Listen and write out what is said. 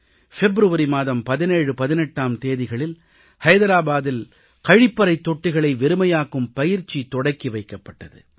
பிப்ரவரி மாதம் 1718ஆம் தேதிகளில் ஐதராபாதில் கழிப்பறைத் தொட்டிகளை வெறுமையாக்கும் பயிற்சி தொடக்கி வைக்கப்பட்டது